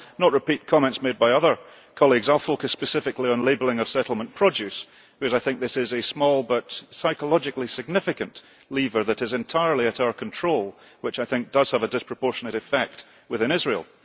I will not repeat comments made by other colleagues, I will focus specifically on labelling of settlement produce because I think this is a small but psychologically significant lever that is entirely at our control and which I think does have a disproportionate effect within Israel.